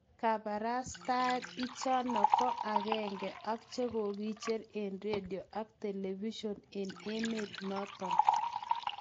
Kaparastae ichano ko agenge ak chakokijer en radio ak television en emet naton